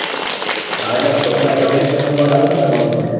હા એટલે પેલા પ્ર~પ્રજ્ઞેશભાઈ નો call આવ્યો તો ને તમારા પર